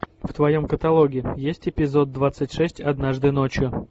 в твоем каталоге есть эпизод двадцать шесть однажды ночью